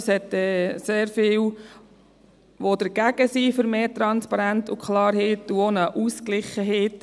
Es gibt sehr viele, die gegen mehr Transparenz und Klarheit sind, und auch gegen die Ausgewogenheit.